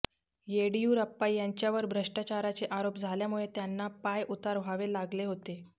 येडियुरप्पा यांच्यावर भ्रष्टाचाराचे आरोप झाल्यामुळे त्यांना पायउतार व्हावे लागले होते